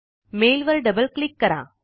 mail वर double click करा